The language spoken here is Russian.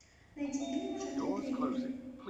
найди фильмы в жанре триллер